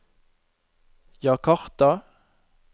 Jakarta